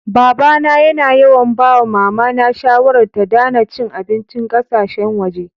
Baba na yana yawan ba wa mama na shawarar, ta Dana cin abincin kasasheyn waje.